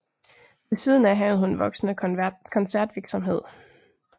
Ved siden af havde hun voksende koncertvirksomhed